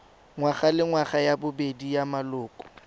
ngwagalengwaga ya bobedi ya maloko